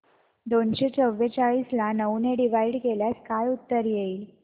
दोनशे चौवेचाळीस ला नऊ ने डिवाईड केल्यास काय उत्तर येईल